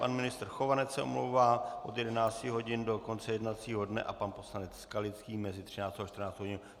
Pan ministr Chovanec se omlouvá od 11 hodin do konce jednacího dne a pan poslanec Skalický mezi 13. a 14. hodinou.